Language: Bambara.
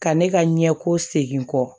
Ka ne ka ɲɛko segin kɔ